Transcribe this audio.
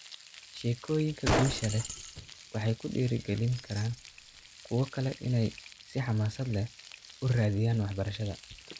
Sheekooyinka guusha leh waxay kudhiirigelin karaan kuwa kale inay si xamaasad leh u raadiyaan waxbarashada.